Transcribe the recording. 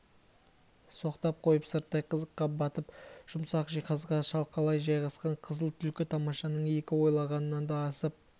соқтап қойып сырттай қызыққа батып жұмсақ жиһазға шалқалай жайғасқан қызыл түлкі тамашаның өзі ойлағаннан да асып